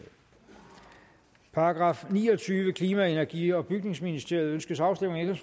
§ niogtyvende klima energi og bygningsministeriet ønskes afstemning